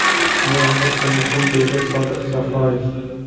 Bu, albatta, muhim”, deydi Sodiq Safoyev.